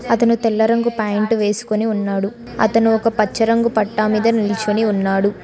అతను తెల్ల రంగు ప్యాంటు వేసుకుని ఉన్నాడు అతను ఒక పచ్చ రంగు పట్టా మీద నిల్చొని ఉన్నాడు.